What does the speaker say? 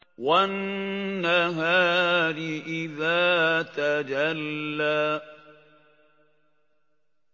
وَالنَّهَارِ إِذَا تَجَلَّىٰ